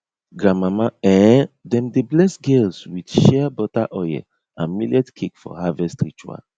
grandmama um dem dey bless girls with shea butter oil and millet cake for harvest ritual